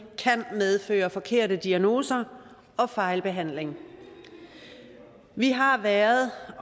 kan medføre forkerte diagnoser og fejlbehandling vi har været